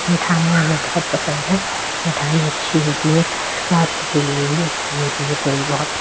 मिठाइयां हमें बहोत पसंद है। मिठाई अच्छी होती है। स्वास्थ्य के लिए भी अच्छी होती है थोड़ी बहोत --